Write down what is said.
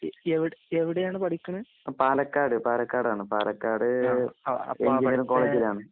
എവിടെ ആണ് എവിടെയാണ് പഠിക്കുന്നത്? പാലക്കാട് പാലക്കാട് എഞ്ചിനീയറിംഗ് കോളേജിലാണ് .